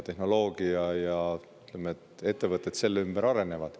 Tehnoloogia ja ettevõtted selle ümber arenevad.